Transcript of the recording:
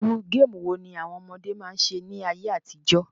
Irú game wo ni àwon ọmọdé ma n se ní ayé àtijọ́?